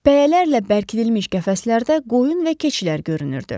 Pəyələrlə bərkidilmiş qəfəslərdə qoyun və keçilər görünürdü.